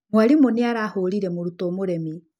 Mwarimũ nĩ arahũũrire mũrutwo mũremi.